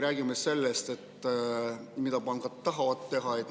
Räägime sellest, mida pangad tahavad teha.